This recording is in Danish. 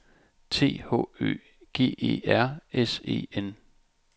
T H Ø G E R S E N